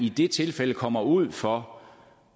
i de tilfælde kommer ud for